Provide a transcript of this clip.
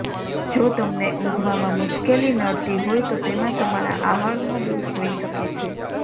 જો તમને ઊંઘવામાં મુશ્કેલી નડતી હોય તો તેમાં તમારા આહારનો દોષ હોઈ શકે છે